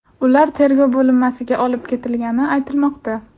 Ular tergov bo‘linmasiga olib ketilgani aytilmoqda.